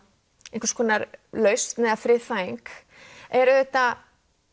einhvers konar lausn eða friðþæging er auðvitað